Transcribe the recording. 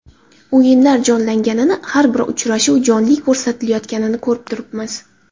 O‘yinlar jonlanganini, har bir uchrashuv jonli ko‘rsatilayotganini ko‘rib turibmiz.